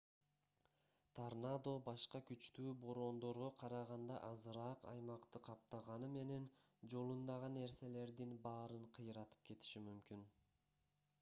торнадо башка күчтүү бороондорго караганда азыраак аймакты каптаганы менен жолундагы нерселердин баарын кыйратып кетиши мүмкүн